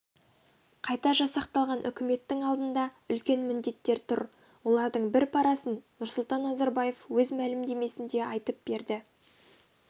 қайта жасақталған үкіметтің алдында үлкен міндеттер тұр олардың бір парасын нұрсұлтан назарбаев өз мәлімдемесінде айтып берді